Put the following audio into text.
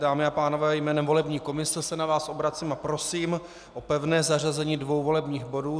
Dámy a pánové, jménem volební komise se na vás obracím a prosím o pevné zařazení dvou volebních bodů.